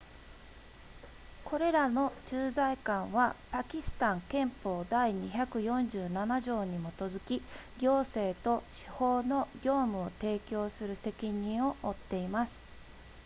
これらの駐在官はパキスタン憲法第247条に基づき行政と司法の業務を提供する責任を負っています